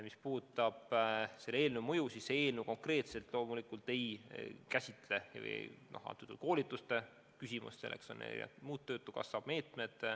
Mis puudutab selle eelnõu mõju, siis see eelnõu konkreetselt loomulikult ei käsitle koolitusi, selleks on muud töötukassa meetmed.